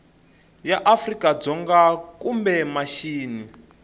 ya afrika dzonga kumbe mixini